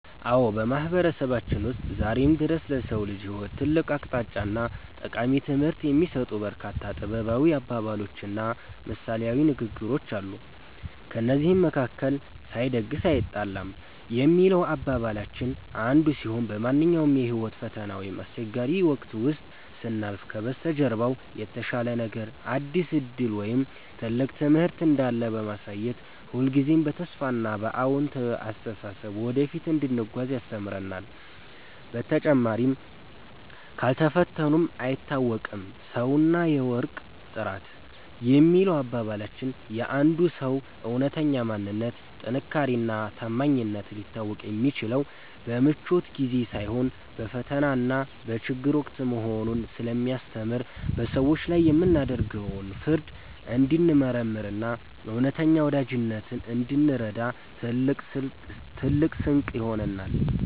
አዎ፣ በማህበረሰባችን ውስጥ ዛሬም ድረስ ለሰው ልጅ ህይወት ትልቅ አቅጣጫና ጠቃሚ ትምህርት የሚሰጡ በርካታ ጥበባዊ አባባሎችና ምሳሌያዊ ንግግሮች አሉ። ከእነዚህም መካከል “ሳይደግስ አይጣላም” የሚለው አባባላችን አንዱ ሲሆን፣ በማንኛውም የህይወት ፈተና ወይም አስቸጋሪ ወቅት ውስጥ ስናልፍ ከበስተጀርባው የተሻለ ነገር፣ አዲስ ዕድል ወይም ትልቅ ትምህርት እንዳለ በማሳየት ሁልጊዜም በተስፋና በአዎንታዊ አስተሳሰብ ወደፊት እንድንጓዝ ያስተምረናል። በተጨማሪም “ካልፈተኑት አይታወቅም ሰውና የወርቅ ጥራት” የሚለው አባባላችን የአንድ ሰው እውነተኛ ማንነት፣ ጥንካሬና ታማኝነት ሊታወቅ የሚችለው በምቾት ጊዜ ሳይሆን በፈተናና በችግር ወቅት መሆኑን ስለሚያስተምር፣ በሰዎች ላይ የምናደርገውን ፍርድ እንድንመረምርና እውነተኛ ወዳጅነትን እንድንረዳ ትልቅ ስንቅ ይሆነናል።